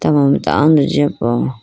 tama mai tando jiya po.